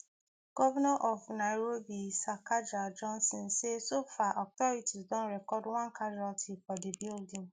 govnor of nairobi sakaja johnson say so far authorities don record one casualty for di building